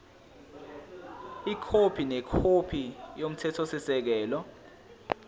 ikhophi nekhophi yomthethosisekelo